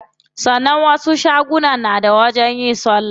Sannan wasu shagunan na da wajen yin salla.